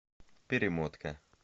перемотка